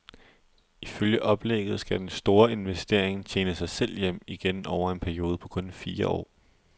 Ifølge oplægget skal den store investering tjene sig selv hjem igen over en periode på kun fire år.